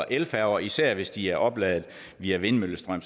elfærger især hvis de er opladet via vindmøllestrøm